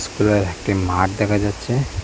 খোলা একটি মাঠ দেখা যাচ্ছে।